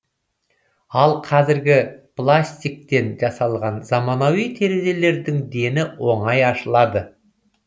ал қазіргі пластиктен жасалған заманауи терезелердің дені оңай ашылады